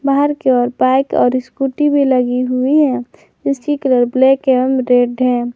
बाहर के ओर बाइक और स्कूटी भी लगी हुई है जिसकी कलर ब्लैक एवं रेड है।